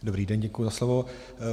Dobrý den, děkuji za slovo.